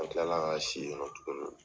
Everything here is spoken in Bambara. An tila si yennɔ tuguni .